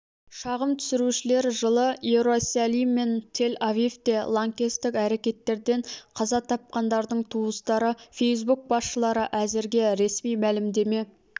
шағым түсірушілер жылы иерусалим мен тель-авивте лаңкестік әрекеттерден қаза тапқандардың туыстары фейсбук басшылары әзірге ресми мәлімдеме